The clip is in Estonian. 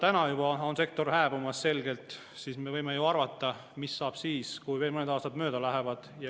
Aga kuna juba praegu on sektor selgelt hääbumas, siis me võime arvata, mis saab siis, kui veel mõned aastad mööda lähevad.